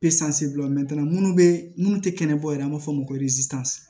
minnu bɛ minnu tɛ kɛnɛbɔ ye an b'a fɔ o ma ko